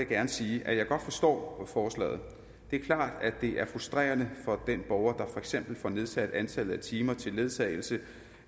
gerne sige at jeg godt forstår forslaget det er klart at det er frustrerende for den borger der for eksempel får nedsat antallet af timer til ledsagelse